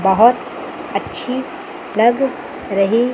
बहोत अच्छी लग रही--